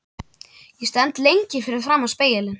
Ég stend lengi fyrir framan spegilinn.